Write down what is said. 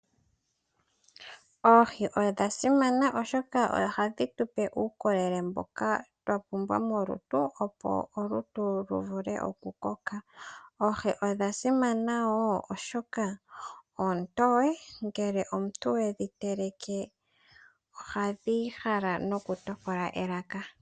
Oohi odha simana oshoka ohadhi tu pe uukolele mboka twa pumbwa molutu, opo olutu lu vule oku koka. Oohi odha simana wo oshoka oontoye, ngele omuntu wedhi teleke ohadhi hala noku tokola elaka.